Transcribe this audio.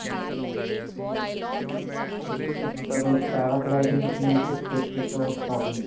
ਠੀਕ ਹੈ. ਮਤਲਬ paragliding ਅਪਨੀ six fifty ਤੋਂ starting ਹੈ?